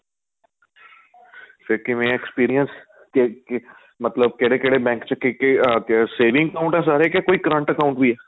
ਫ਼ੇਰ ਕਿਵੇਂ ਆਂ experience ਕੇ ਮਤਲਬ ਕਿਹੜੇ ਕਿਹੜੇ bank ਚ ਕੀ ਕੀ ਅਹ saving account ਆਂ ਸਾਰੇ ਕੋਈ current account ਵੀ ਆਂ